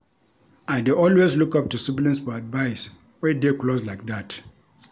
I dey always look up to siblings for advice we dey close like dat.